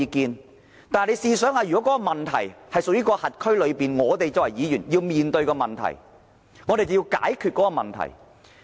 可是，大家試想想，如果問題是屬於轄區內，我們作為區議員便要面對問題、解決問題。